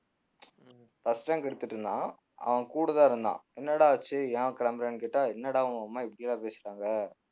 first rank எடுத்துட்டிருந்தான் அவன் கூடதான் இருந்தான் என்னடா ஆச்சு ஏன் கிளம்புறேன்னு கேட்டா என்னடா உங்க அம்மா இப்படியெல்லாம் பேசுறாங்க